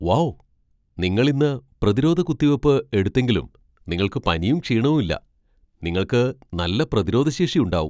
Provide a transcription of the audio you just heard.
Wow! നിങ്ങൾ ഇന്ന് പ്രതിരോധ കുത്തിവയ്പ്പ് എടുത്തെങ്കിലും നിങ്ങൾക്ക് പനിയും ക്ഷീണവും ഇല്ല. നിങ്ങൾക്ക് നല്ല പ്രതിരോധശേഷി ഉണ്ടാവും!